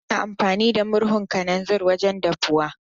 Hamza yana amfani da murhun kananzir wajen dafuwa.